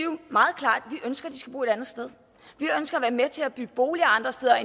ønsker de skal bo et andet sted vi ønsker at være med til at bygge boliger andre steder